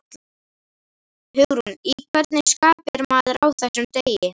Hugrún: Í hvernig skapi er maður á þessum degi?